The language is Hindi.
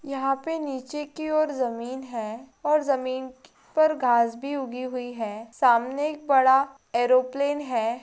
यहाँ पे नीचे की ओर जमीन है और जमीन पर घास भी उगी हुई है सामने एक बडा ऐरोप्लेन है।